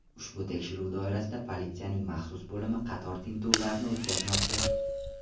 Ushbu tekshiruv doirasida politsiyaning maxsus bo‘limi qator tintuvlarni o‘tkazmoqda.